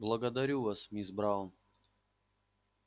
благодарю вас мисс браун